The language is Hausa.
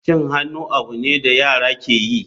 Cin hannu abu ne da yara ke yi.